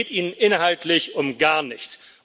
Es geht Ihnen inhaltlich um gar nichts.